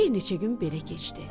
Bir neçə gün belə keçdi.